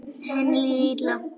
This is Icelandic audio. Henni líður illa.